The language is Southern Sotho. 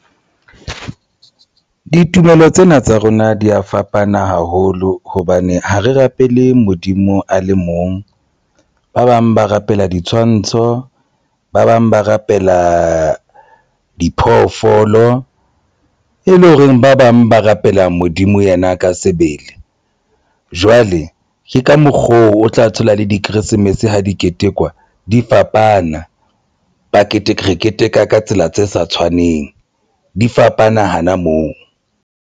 Ditumelo tsena tsa rona di ya fapana haholo hobane ha re rapele Modimo a le mong, ba bang ba rapela ditshwantsho, ba bang ba rapela diphoofolo e le horeng ba bang ba rapela Modimo yena ka sebele jwale ke ka mokgo o tla thola le di-Christmas. Ha di ketekwa di fapana packet, re keteka ka tsela tse sa tshwaneng di fapana hana moo.